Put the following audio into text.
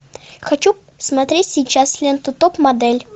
хочу смотреть сейчас ленту топ модель